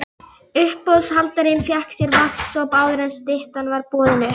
Uppboðshaldarinn fékk sér vatnssopa áður en styttan var boðin upp.